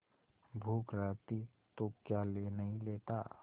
भूख रहती तो क्या ले नहीं लेता